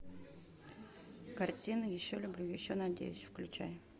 картина еще люблю еще надеюсь включай